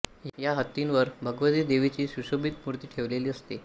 या हत्तींवर भगवती देवीची सुशोभित मूर्ती ठेवलेली असते